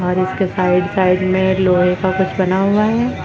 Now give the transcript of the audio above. और इसके side side में लोहे का कुछ बना हुआ है।